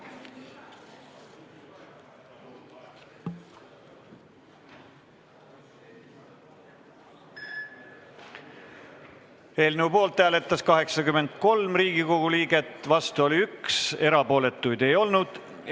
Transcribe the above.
Hääletustulemused Eelnõu poolt hääletas 83 Riigikogu liiget, vastu oli 1, erapooletuid ei olnud.